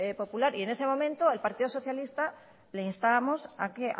popular y en ese momento el partido socialista le instábamos a que